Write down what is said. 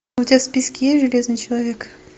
у тебя в списке есть железный человек